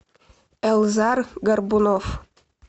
эльзар горбунов